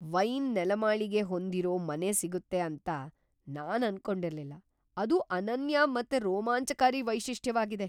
Wine ನೆಲಮಾಳಿಗೆ ಹೊಂದಿರೋ ಮನೆ ಸಿಗುತ್ತೆ ಅಂತ ನಾನ್ ಅನ್ಕೊಂಡಿರ್ಲಿಲ್ಲ - ಅದು ಅನನ್ಯ ಮತ್ ರೋಮಾಂಚಕಾರಿ ವೈಶಿಷ್ಟ್ಯವಾಗಿದೆ.